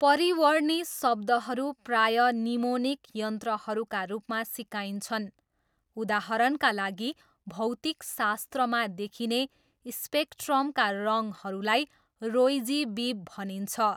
परिवर्णी शब्दहरू प्रायः निमोनिक यन्त्रहरूका रूपमा सिकाइन्छन्, उदाहरणका लागि भौतिकशास्त्रमा देखिने स्पेक्ट्रमका रङहरूलाई रोई जी बिभ भनिन्छ।